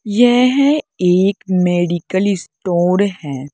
यह एक medical store है।